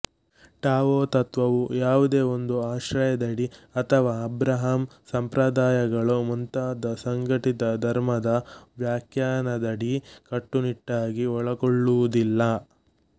Tao ತತ್ತ್ವವು ಯಾವುದೇ ಒಂದು ಆಶ್ರಯದಡಿ ಅಥವಾ ಅಬ್ರಹಾಂ ಸಂಪ್ರದಾಯಗಳು ಮುಂತಾದ ಸಂಘಟಿತ ಧರ್ಮದ ವ್ಯಾಖ್ಯಾನದಡಿ ಕಟ್ಟುನಿಟ್ಟಾಗಿ ಒಳಗೊಳ್ಳುವುದಿಲ್ಲ